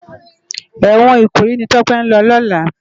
Èwòn Ikoyi ni Tope n lò lòlá